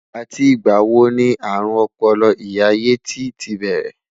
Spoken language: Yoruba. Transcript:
àti ìgba wò ní arun Opolo ìyá yeti tí bẹrẹ?